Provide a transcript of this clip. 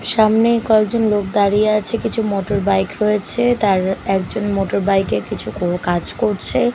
সামনে কয়েকজন লোক দাঁড়িয়ে আছে কিছু মোটরবাইক রয়েছে তার একজন মোটরবাইক -এ কিছু কাজ করছে।